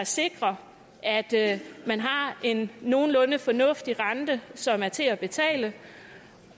sikrer at man har en nogenlunde fornuftig rente som er til at betale